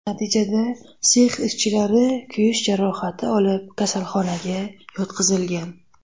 Natijada sex ishchilari kuyish jarohati olib, kasalxonaga yotqizilgan.